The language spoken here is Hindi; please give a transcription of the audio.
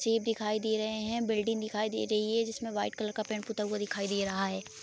सेब दिखाई दे रहे है बिल्डिंग दिखाई दे रही है जिसमे व्हाइट कलर का पेंट पुता हुआ दिखाई दे रहा है।